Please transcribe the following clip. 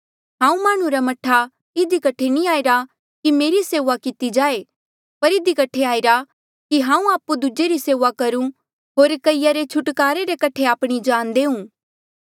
हांऊँ माह्णुं रा मह्ठा इधी कठे नी आईरा कि मेरी सेऊआ किती जाए पर इधी कठे आईरा कि हांऊँ आपु दूजे री सेऊआ करूं होर कईया रे छुटकारे रे कठे आपणी जान देऊँ